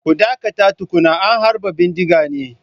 Ku dakata tukuna an harba bindiga ne!